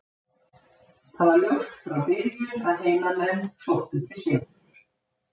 Það var ljóst frá byrjun að heimamenn sóttu til sigurs.